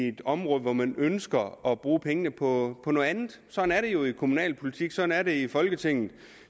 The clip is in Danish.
et område og hvor man ønsker at bruge pengene på noget andet sådan er det jo i kommunalpolitik sådan er det i folketinget